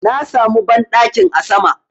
Na samu banɗakin a sama